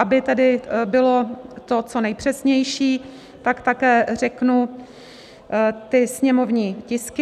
Aby tedy to bylo co nejpřesnější, tak také řeknu ty sněmovní tisky.